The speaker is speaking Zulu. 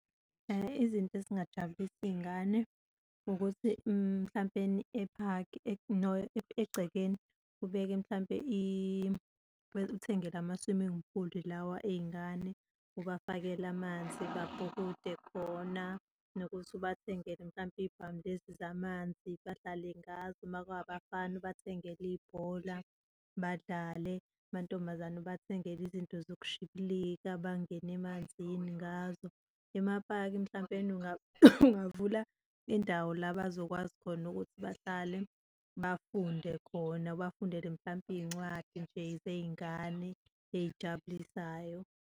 Izinto ezingajabulisa iy'ngane ukuthi mhlampeni ephakhi, no egcekeni ubeke mhlampe uthenge lama-swimming pool lawa ey'ngane, ubafakele amanzi babhukude khona, nokuthi ubathengele mhlampe iy'bhamu lezi zamanzi badlale ngazo, uma kungabafana, ubathengele ibhola badlale, amantombazane ubathengele izinto zokushibilika bangene emanzini ngazo. Emapaki, mhlampeni ungavula indawo la bazokwazi khona ukuthi bahlale bafunde khona, ubafundele mhlampe iy'ncwadi nje zey'ngane eyijabulisayo.